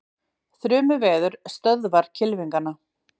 Þrumuveður stöðvar kylfingana